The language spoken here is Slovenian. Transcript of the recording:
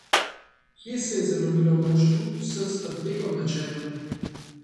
Kje se je zalomilo moštvu s strategom na čelu?